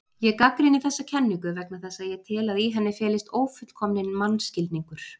Ég gagnrýni þessa kenningu vegna þess að ég tel að í henni felist ófullkominn mannskilningur.